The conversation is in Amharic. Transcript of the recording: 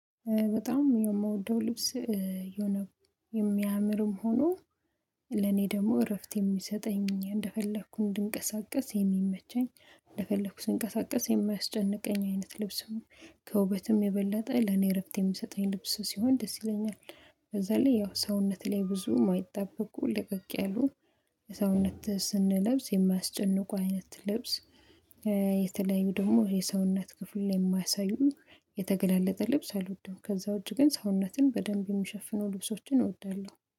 በጣም የምወደው ልብስ የሆነ የሚያምርም ሆኖ ለኔ ደግሞ እረፍት የሚሰጠኝ እንደፈለኩ እንድንቀሳቀስ የሚመቸኝ እንደፈለኩ ስንቀሳቀስ የማያስጨንቀኝ አይነት ልብስ ነው። ከውበትም የበላጠ ለኔ እረፍት የምሰጠኝ ልብስ ሲሆን ደስ ይለኛል። በዛ ላይ ያው ሰውነት ላይ ብዙ የማይጠበቁ ልቅቅ ያሉ ለሰውነት ስንለብስ የማያስጨንቁ አይነት ልብስ። የተለያዩ ደግሞ የሰውነት ክፍል ላይ የማያሳዩ የተገላለጠ ልብስ አልወደውም። ከዛ ውጪ ግን ሰውነትን በደንብ የሚሸፍኑ ልብሶችን እወዳለሁ